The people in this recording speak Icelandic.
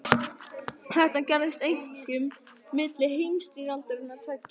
Þetta gerðist einkum milli heimsstyrjaldanna tveggja.